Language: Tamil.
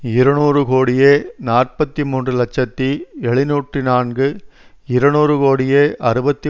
இருநூறு கோடியே நாற்பத்தி மூன்று இலட்சத்தி எழுநூற்று நான்கு இருநூறு கோடியே அறுபத்தி